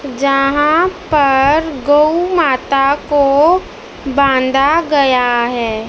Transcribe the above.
जहां पर गऊ माता को बांधा गया है।